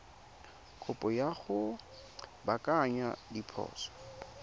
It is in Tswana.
kopo ya go baakanya diphoso